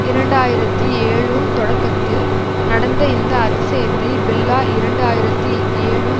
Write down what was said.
இரண்டு ஆயிரத்தி ஏழுன் தொடக்கத்தில் நடந்த இந்த அதிசயத்தை பில்லா இரண்டு ஆயிரத்தி ஏழுன்